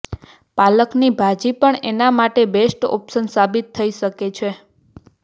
પાલકની ભાજી પણ એના માટે બેસ્ટ ઑપ્શન સાબિત થઈ શકે છે